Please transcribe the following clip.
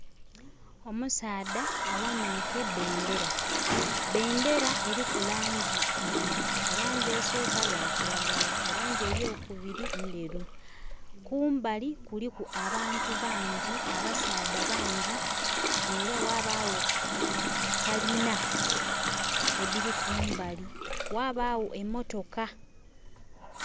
Omusaadha aghanike bendhera, bendhera eriku langi ibiri erangi esoka ya kiragala erangi eyokubiri ndheru kumbali kuliku abantu bangi, abasaadha bangi era ghabagho kalina edhiri kumbali ghabaagho emotoka